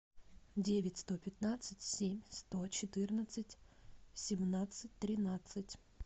девять сто пятнадцать семь сто четырнадцать семнадцать тринадцать